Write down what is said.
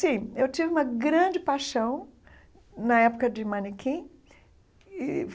Sim, eu tive uma grande paixão na época de manequim e.